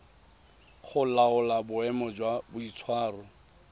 go laola boemo jwa boitshwaro